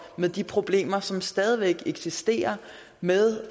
med de problemer som stadig væk eksisterer med